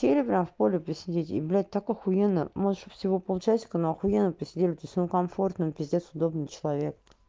телеграф в поле посидеть и блять так ахуенно можешь и всего полчасика но ахуенно посидим то есть он комфортный пиздец удобный человек